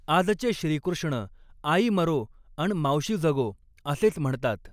आजचे श्रीकृष्ण आई मरो अन् मावशी जगो असेच म्हणतात.